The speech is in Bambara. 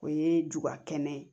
O ye ju ka kɛnɛ ye